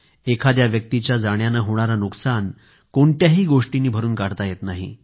एखाद्या व्यक्तीच्या जाण्यानं होणारं नुकसान कोणत्याही गोष्टींनी भरून काढता येत नाही